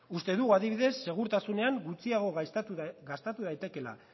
uste dugu adibidez segurtasunean gutxiago gastatu daitekeela